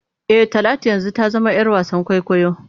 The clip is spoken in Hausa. E, Talatu yanzu ta zama ‘yar wasan kwaikwayo.